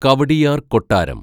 കവടിയാര്‍ കൊട്ടാരം